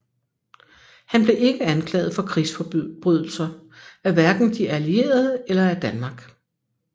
Han blev ikke anklaget for krigsforbrydelser af hverken de allierede eller af Danmark